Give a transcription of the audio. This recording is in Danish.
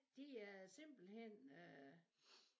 Det er simpelthen øh